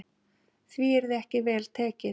Því yrði ekki vel tekið.